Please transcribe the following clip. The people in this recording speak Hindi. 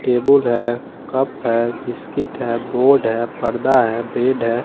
टेबुल हैं कप हैं बिस्किट हैं बोर्ड हैं पर्दा हैं बेड ह--